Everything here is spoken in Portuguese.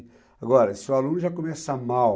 Agora, se o aluno já começa mal,